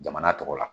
Jamana tɔgɔ la